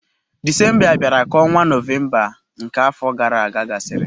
Disemba bịara ka ọnwa Nọvemba nke afọ gara aga gasịrị.